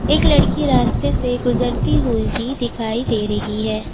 एक लड़की रास्ते से गुजरती हुई भी दिखाई दे रही है।